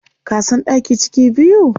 Ka san ɗaki ciki biyu?